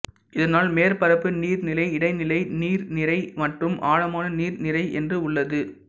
இதனால் மேற்பரப்பு நீர் நிறை இடைநிலை நீர் நிறை மற்றும் ஆழமான நீர் நிறை என்று உள்ளது